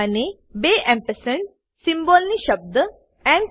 અને બે એમ્પસંડ સીમ્બોલને શબ્દ એન્ડ